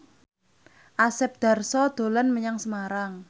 Asep Darso dolan menyang Semarang